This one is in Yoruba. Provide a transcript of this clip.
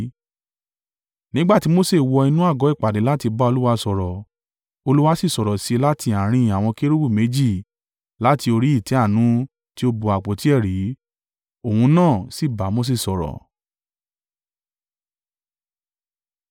Nígbà tí Mose wọ inú àgọ́ ìpàdé láti bá Olúwa sọ̀rọ̀, Olúwa sì sọ̀rọ̀ sí i láti àárín àwọn kérúbù méjì láti orí ìtẹ́ àánú tí ó bo àpótí ẹ̀rí, ohùn náà sì bá Mose sọ̀rọ̀.